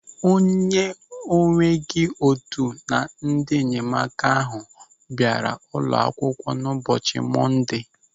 O nweghị otu na ndị enyemaka ahụ bịara ụlọ akwụkwọ n'ụbọchị Mọndee.